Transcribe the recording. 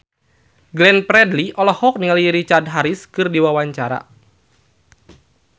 Glenn Fredly olohok ningali Richard Harris keur diwawancara